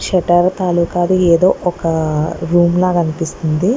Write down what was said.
Set అవతారాలు కాదు ఏదో ఒక రూమ్ లా అనిపిస్తుంది.